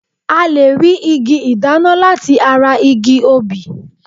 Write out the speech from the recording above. A lè rí igi ìdáná láti ara igi obì